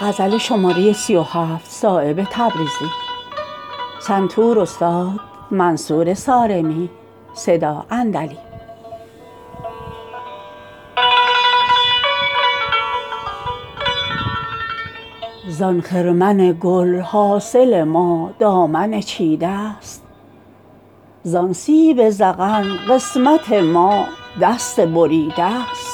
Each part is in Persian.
زان خرمن گل حاصل ما دامن چیده است زان سیب ذقن قسمت ما دست گزیده است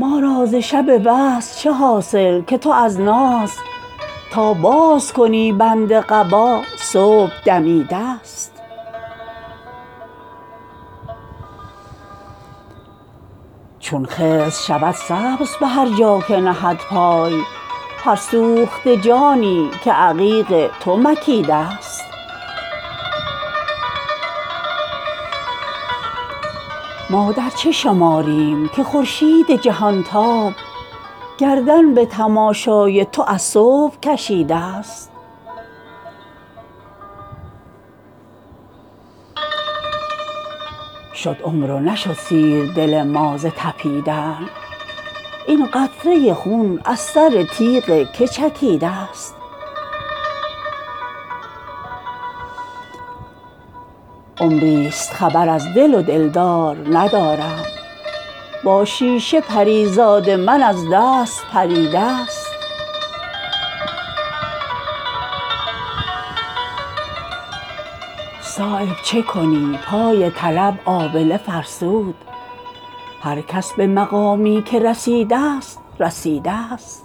ما را ز شب وصل چه حاصل که تو از ناز تا باز کنی بند قبا صبح دمیده است چون خضر شود سبز به هر جا که نهد پای هر سوخته جانی که عقیق تو مکیده است شد عمر و نشد سیر دل ما ز تپیدن این قطره خون از سر تیغ که چکیده است ما در چه شماریم که خورشید جهانتاب گردن به تماشای تو از صبح کشیده است در عهد سبکدستی آن غمزه خونریز شمشیر تو آسوده تر از راه بریده است تیغ تو چو خون در رگ و در ریشه جان رفت فولاد سبکسیرتر از آب که دیده است عمری است خبر از دل و دلدار ندارم با شیشه پریزاد من از دست پریده است صایب چه کنی پای طلب آبله فرسود هر کس به مقامی که رسیده است رسیده است